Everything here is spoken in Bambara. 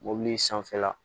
Mobili sanfɛla